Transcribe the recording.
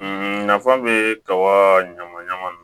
Nafa bɛ kaba ɲama ɲaman nunnu